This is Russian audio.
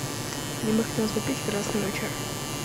мне бы хотелось попить красного чая